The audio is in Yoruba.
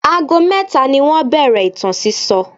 Ago mẹ́ta ni wọ́n bẹ̀rẹ̀ ìtàn sísọ.